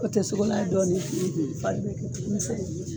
O tɛ sogo n'a ye dɔɔni mi fari be